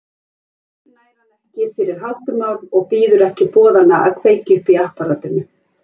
Heim nær hann fyrir háttumál og bíður ekki boðanna að kveikja upp í apparatinu.